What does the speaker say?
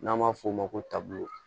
N'an b'a f'o ma ko taabolo